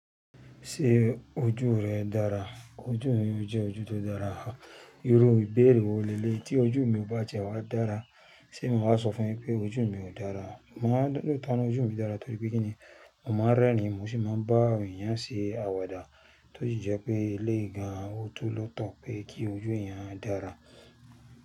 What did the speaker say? Ṣé ojú rẹ dára? Ojú mi jẹ́ ojú tó dára. Irú ìbéèrè wo léyìí tí ojú mi ò bá jẹ́ wá dára, ṣé mo máa sọ fún ẹ pé ojú mi ò dára? Mo máa n lóòtó ọ́n ojú mi dára torí pé kí ni, mo máa ń rẹ́ ni mo sì máa ń bá èèyàn ṣe àwàdà tó sì jẹ́ pé eléè gan oto lọ́tọ̀ pé kí ojú èèyàn dára.